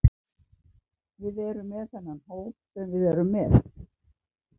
Við erum með þennan hóp sem við erum með.